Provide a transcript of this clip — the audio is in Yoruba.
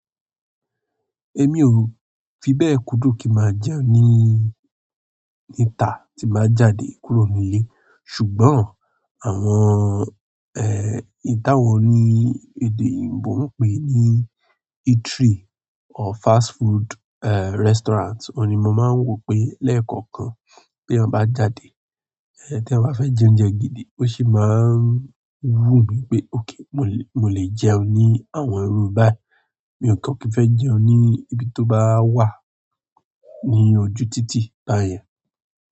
Èmi ò fi bẹ́ẹ̀ kúdùn kí máa jẹun ní, níta tí màá jáde kúrò nílé. Ṣùgbọ́n àwọn, ẹ́h, èyí tàwọn ní èdè òyìnbó ń pè ní eatery or fast food, ẹ́, restaurant òun ni mó máa ń wò pé lẹ́ẹ̀kọ̀kan ti eeyan bá jáde, ẹ́, tí eeyan bá fẹ́ jẹ oúnjẹ gidi ó sì máa ń wú mi pé, "òkay, mò lè, mò lè jẹun ní àwọn irú báyìí." Mi ò kań kí n fẹ́ jẹun ní ibi tó bá wà ní ojú títì ba yen.